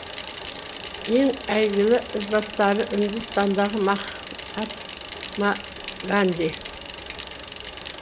ең әйгілі ізбасары үндістандағы махатма ганди